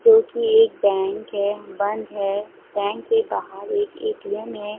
जो की एक बँक है बंद है बँक के बाहर एक ए_टी_एम है।